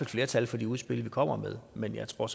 flertal for de udspil vi kommer med men jeg tror